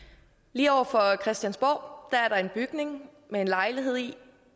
lige over for christiansborg er der en bygning med en lejlighed i